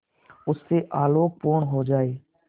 उससे आलोकपूर्ण हो जाए